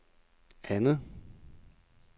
andet